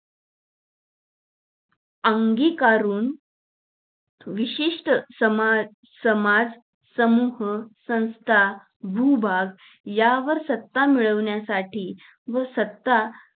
अंगी करून. विशिष्ट समा समाज, संप संस्था, भूभाग, या वर सत्ता मिळवण्यासाठी व सत्ता